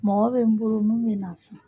Mɔgɔ bɛ n boro min bɛna a san.